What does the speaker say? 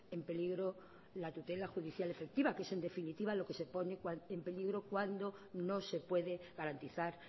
en peligro la tutela judicial efectiva que es en definitiva lo que se pone en peligro cuando no se puede garantizar